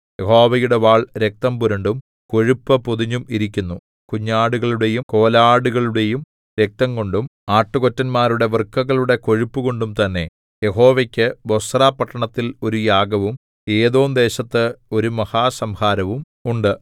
യഹോവയുടെ വാൾ രക്തം പുരണ്ടും കൊഴുപ്പു പൊതിഞ്ഞും ഇരിക്കുന്നു കുഞ്ഞാടുകളുടെയും കോലാടുകളുടെയും രക്തംകൊണ്ടും ആട്ടുകൊറ്റന്മാരുടെ വൃക്കകളുടെ കൊഴുപ്പുംകൊണ്ടും തന്നെ യഹോവയ്ക്കു ബൊസ്ര പട്ടണത്തില്‍ ഒരു യാഗവും ഏദോംദേശത്ത് ഒരു മഹാസംഹാരവും ഉണ്ട്